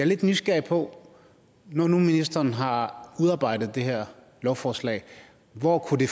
lidt nysgerrig på når nu ministeren har udarbejdet det her lovforslag hvor det